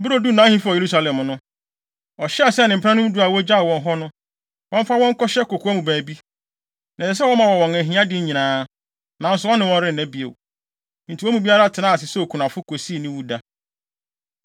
Bere a oduu nʼahemfi hɔ wɔ Yerusalem no, ɔhyɛɛ sɛ ne mpenanom du a ogyaw wɔn hɔ no, wɔmfa wɔn nkɔhyɛ kokoa mu baabi. Na ɛsɛ sɛ wɔma wɔn wɔn ahiade nyinaa, nanso ɔne wɔn renna bio. Enti wɔn mu biara tenaa ase sɛ okunafo, kosii ne wuda.